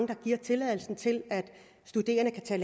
vil give tilladelse til at studerende kan